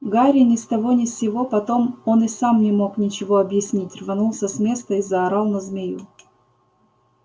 гарри ни с того ни с сего потом он и сам не мог ничего объяснить рванулся с места и заорал на змею